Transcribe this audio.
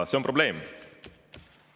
See on probleem.